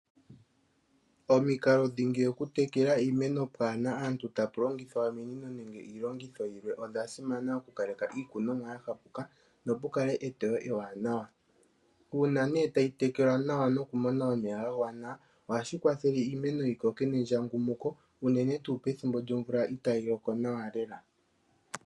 Omikalo dhingi dhokutekela iimeno pwaana aantu ta pu longithwa ominino nenge iilongitho yilwe odha simama okukaleka iikunomwa ya tsapuka nokukale eteyo ewanawa uuna tayi tekelwa nawa nokumona omeya ga gwana ohashi kwathele iimeno yi koke nendjangumuko unene tuu pethimbo lyomvula itayi loko nawa lela.